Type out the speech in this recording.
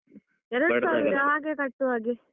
ಹಾಗೆ ಕಟ್ಟುವ ಹಾಗೆ.